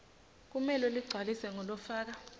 kumele ligcwaliswe ngulofaka